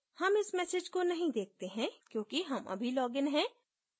हम इस message को नहीं देखते हैं क्योंकि हम अभी लॉगिन हैं